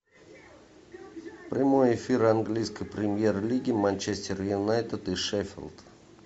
прямой эфир английской премьер лиги манчестер юнайтед и шеффилд